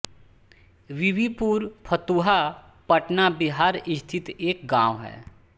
बीबीपुर फतुहा पटना बिहार स्थित एक गाँव है